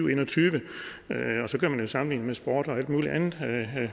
og en og tyve og så kan man jo sammenligne med sport og alt mulig andet